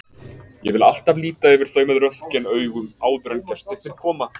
Ég vil alltaf líta yfir þau með röntgenaugum áður en gestirnir koma.